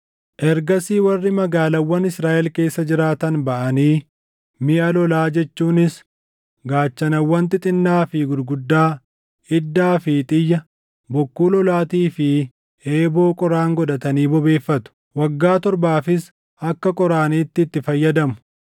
“ ‘Ergasii warri magaalaawwan Israaʼel keessa jiraatan baʼanii miʼa lolaa jechuunis gaachanawwan xixinnaa fi gurguddaa, iddaa fi xiyya, bokkuu lolaatii fi eeboo qoraan godhatanii bobeeffatu. Waggaa torbaafis akka qoraaniitti itti fayyadamu.